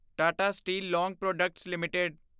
Tata steel long products LTD